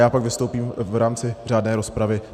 Já pak vystoupím v rámci řádné rozpravy.